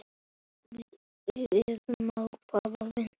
Við sjáumst seinna, amma mín.